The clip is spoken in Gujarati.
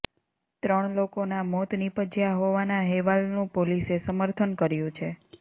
ત્રણ લોકોના મોત નીપજ્યા હોવાના હેવાલનું પોલીસે સમર્થન કર્યું છે